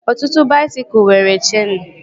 Ọtụtụ baisikụl nwere cheenu